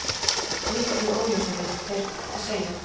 Miklu óljósari, þér að segja.